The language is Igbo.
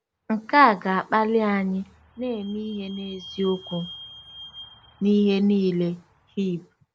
Nke a ga-akpali anyị “na-eme ihe n’eziokwu n’ihe niile.”—Hib.